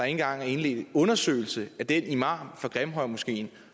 engang indledt en undersøgelse af den imam fra grimhøjmoskeen